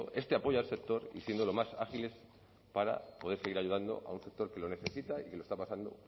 este apoyo al sector y siendo lo más ágiles para poder seguir ayudando a un sector que lo necesita y que está pasando